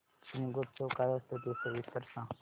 शिमगोत्सव काय असतो ते सविस्तर सांग